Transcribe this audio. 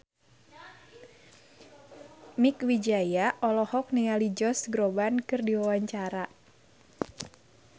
Mieke Wijaya olohok ningali Josh Groban keur diwawancara